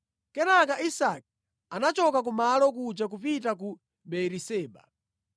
Kenaka Isake anachoka ku malo kuja kupita ku Beeriseba.